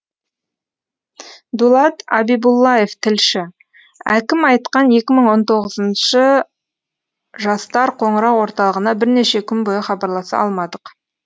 дулат абибуллаев тілші әкім айтқан екі мың он тоғызыншы жастар қоңырау орталығына бірнеше күн бойы хабарласа алмадық